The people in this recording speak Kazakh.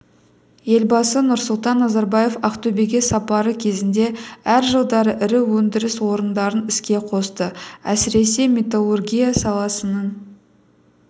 елбасы нұрсұлтан назарбаев ақтөбеге сапары кезінде әр жылдары ірі өндіріс орындарын іске қосты әсіресе металлургия саласының